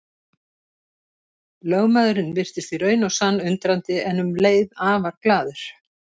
Lögmaðurinn virtist í raun og sann undrandi en um leið afar glaður.